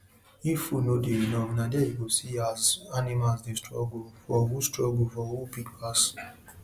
poultry house suppose get enough space for each bird so dem no go dey use mouth bite each other or or no fit breathe